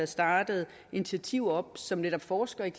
startet initiativer op som netop forsker i